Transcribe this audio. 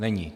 Není.